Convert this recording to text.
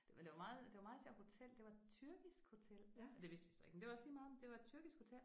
Det var det var meget det var meget sjovt hotel det var tyrkisk hotel det vidste vi så ikke men det var også lige meget det var et tyrkisk hotel